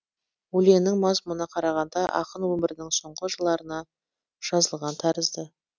өлеңнің мазмұнына қарағанда ақын өмірінің соңғы жыларына жазылған тәрізді